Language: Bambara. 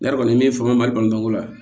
Ne yɛrɛ kɔni ye min faamuya malibalibako la